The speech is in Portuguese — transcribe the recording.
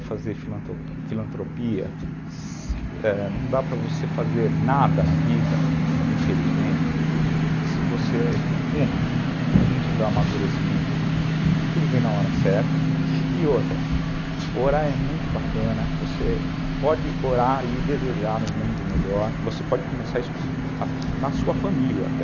Fazer filan filantropia, é, não dá para fazer nada na vida, infelizmente, se você, uma, não tiver amadurecimento, porque tudo vem na hora certa, e outra, orar é muito bacana, você pode orar e desejar um mundo melhor, você pode começar isso na sua família até,